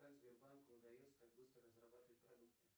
как сбербанку удается так быстро разрабатывать продукты